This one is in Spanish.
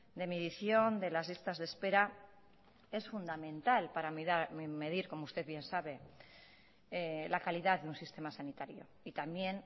de medición de las listas de espera es fundamental para medir como usted bien sabe la calidad de un sistema sanitario y también